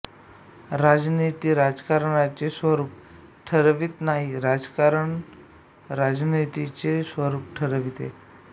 राजनीती राजकारणाचे स्वरूप ठरवीत नाही राजकारण राजनीतीचे स्वरूप ठरविते